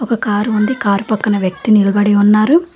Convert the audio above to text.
ఒక కారు ఉంది కారు పక్కన వ్యక్తి నిలబడి ఉన్నారు.